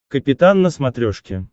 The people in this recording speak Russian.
капитан на смотрешке